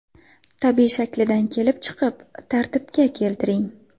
Tabiiy shaklidan kelib chiqib tartibga keltiring.